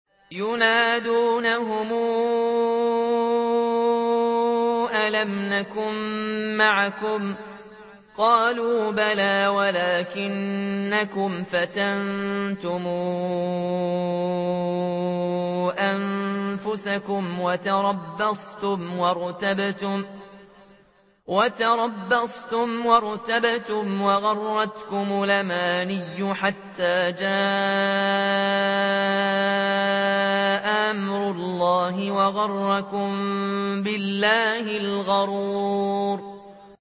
يُنَادُونَهُمْ أَلَمْ نَكُن مَّعَكُمْ ۖ قَالُوا بَلَىٰ وَلَٰكِنَّكُمْ فَتَنتُمْ أَنفُسَكُمْ وَتَرَبَّصْتُمْ وَارْتَبْتُمْ وَغَرَّتْكُمُ الْأَمَانِيُّ حَتَّىٰ جَاءَ أَمْرُ اللَّهِ وَغَرَّكُم بِاللَّهِ الْغَرُورُ